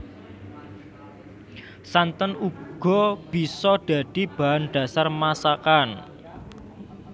Santen uga bisa dadi bahan dhasar masakan